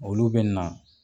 Olu bɛ na.